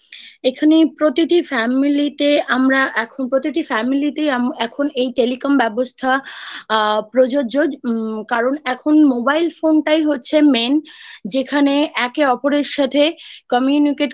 এখানে প্রতিটি Family তে আমরা এখন প্রতিটি Family তেই এখন এই Telecom ব্যবস্থা আ প্রযোজ্য উম্ কারণ এখন mobile phone টাই হচ্ছে Main যেখানে একে অপরের সাথে communicate